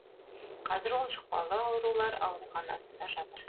қазір ол жұқпалы аурулар ауруханасында жатыр